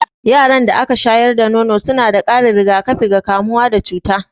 Yaran da aka shayar da nono suna da ƙarin rigakafi ga kamuwa da cuta.